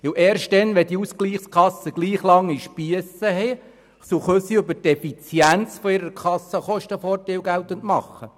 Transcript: Denn erst wenn die Ausgleichskassen gleich lange Spiesse haben, können sie durch die Effizienz Kostenvorteile geltend machen.